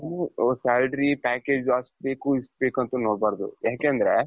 salary package ಅಷ್ಟ್ಬೇಕು ಇಷ್ಟ್ಬೇಕು ಅಂತ ನೋಡಬಾರದು ಯಾಕೆ ಅಂದ್ರೆ?